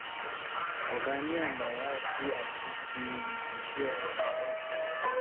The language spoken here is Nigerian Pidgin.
Oga me and my wife do gree say we go share everytin.